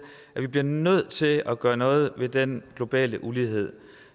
at vi bliver nødt til at gøre noget ved den globale ulighed